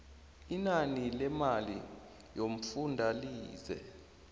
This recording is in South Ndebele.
inani lemali yomfundalize